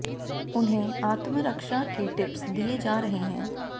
उन्हें आत्म रक्षा के टिप्स दिए जा रहे हैं